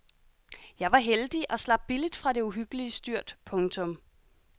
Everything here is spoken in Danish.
Jeg var heldig og slap billigt fra det uhyggelige styrt. punktum